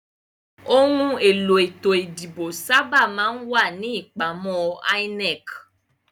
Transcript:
Òhun èlò ètò ìdìbò sábà máa n ipàmò INEC